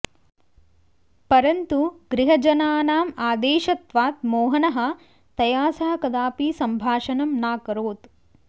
परन्तु गृहजनानाम् आदेशत्वात् मोहनः तया सह कदापि सम्भाषणं नाकरोत्